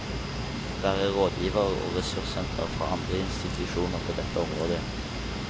Være rådgiver og ressurssenter for andre institusjoner på dette området.